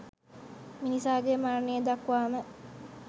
මිනිසාගේ මරණය දක්වාම